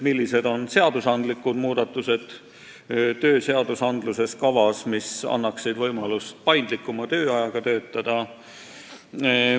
Milliseid seadusandlikke muudatusi on kavas teha tööseadustikus, et luua vanematele inimestele paremad võimalused osalise tööajaga töötada?